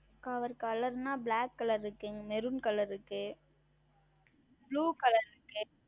அவர் Color என்றால் Black Color இருக்கிறது Maroon Color இருக்கிறது Blue Color இருக்கிறது